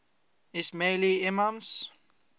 ismaili imams